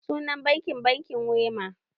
Sunan bankin "bankin Wema"